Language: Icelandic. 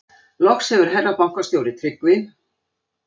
Loks hefur herra bankastjóri Tryggvi